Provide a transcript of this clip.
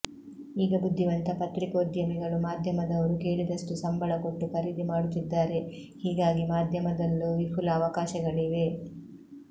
ಈಗ ಬುದ್ದಿವಂತ ಪತ್ರಿಕೋದ್ಯಮಿಗಳು ಮಾಧ್ಯಮದವರು ಕೇಳಿದಷ್ಟು ಸಂಬಳ ಕೊಟ್ಟು ಖರೀದಿ ಮಾಡುತ್ತಿದ್ದಾರೆ ಹೀಗಾಗಿ ಮಾಧ್ಯಮದಲ್ಲೂ ವಿಫುಲ ಅವಕಾಶಗಳಿವೆ